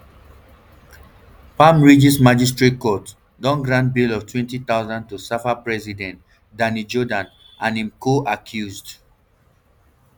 palm ridges magistrate court don grant bail of rtwenty thousand to safa president danny jordaan and im coaccused